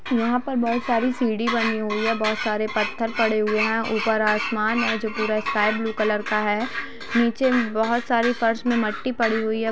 यहां पर बहुत सारी सीढ़ी बनी हुई है बहुत सारे पत्थर पड़े हुए हैं ऊपर आसमान है जो पूरा स्काई ब्लू कलर का हैनीचे बहुत सारी फर्श में मट्टी पड़ी हुई है।